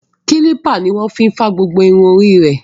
Kílípà ní wọ́n fi fá gbogbo irun orí ẹ̀.